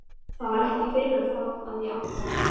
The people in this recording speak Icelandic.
Það var ekki fyrr en þá að ég áttaði mig.